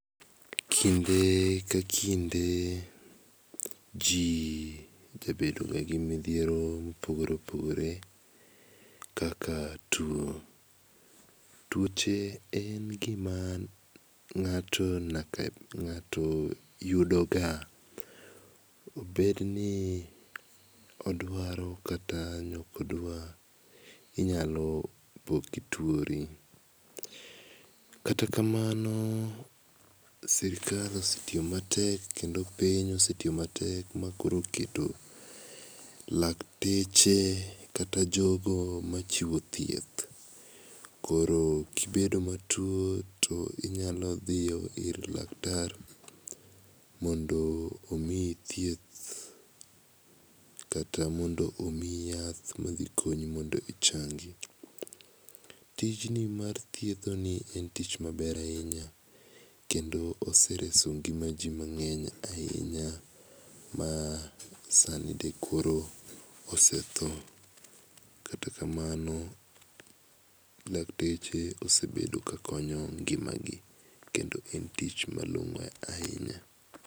Kinde ka kinde ji jabedoga gi midhiero ma opogore opogore kaka tuo. Tuoche en gima ng'ato yudoga obed ni odwaro kata ok odwar inyalo po kituori. Kata kamano sirkal osetiyo matek kata piny osetiyo matek makoro oketo lakteche kata jok machiwo thieth. Koro ka i bedo matuo to inyalo dhi ir laktar mondo omiyi thieth kata mondo omiyi yath madhi konyi mondo ichangi-. Tijni mar thiethoni en tich maber ahinya kendo osereso ngima ji mang'eny ahinya kata kamano dakteche osebedo kakonyo ngimagi kendo en tich malong'o ahinya.